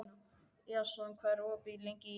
Jason, hvað er opið lengi í IKEA?